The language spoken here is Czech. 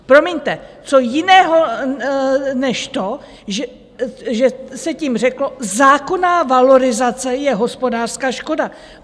Promiňte, co jiného než to, že se tím řeklo: zákonná valorizace je hospodářská škoda?